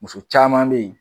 Muso caman be yen